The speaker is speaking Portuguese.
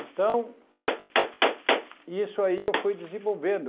Então, e isso aí eu fui desenvolvendo.